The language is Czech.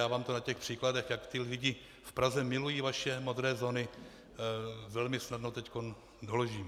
Já vám to na těch příkladech, jak ti lidé v Praze milují vaše modré zóny, velmi snadno teď doložím.